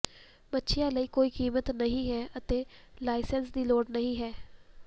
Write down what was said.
ਮੱਛੀਆਂ ਲਈ ਕੋਈ ਕੀਮਤ ਨਹੀਂ ਹੈ ਅਤੇ ਲਾਇਸੈਂਸ ਦੀ ਲੋੜ ਨਹੀਂ ਹੈ